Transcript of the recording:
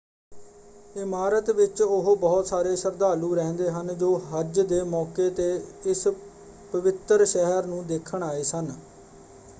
ਇਮਾਰਤ ਵਿੱਚ ਉਹ ਬਹੁਤ ਸਾਰੇ ਸ਼ਰਧਾਲੂ ਰਹਿੰਦੇ ਹਨ ਜੋ ਹਜ ਦੇ ਮੌਕੇ ‘ਤੇ ਇਸ ਪਵਿੱਤਰ ਸ਼ਹਿਰ ਨੂੰ ਦੇਖਣ ਆਏ ਸਨ।